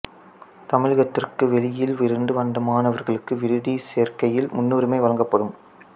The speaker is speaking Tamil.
தமிழகத்திற்கு வெளியில் இருந்து வந்த மாணவர்களுக்கு விடுதி சேர்க்கையில் முன்னுரிமை வழங்கப்படும்